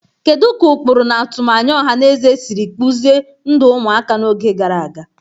Kedu ka ụkpụrụ na atụmanya ọha na eze siri kpụzie ndụ ụmụaka n'oge gara aga?